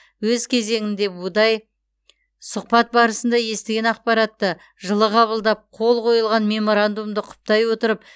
өз кезегінде будай сұхбат барысында естіген ақпаратты жылы қабылдап қол қойылған меморандумды құптай отырып